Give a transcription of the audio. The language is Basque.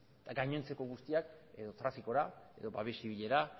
gainontzeko guztiak edo trafikora babes zibilera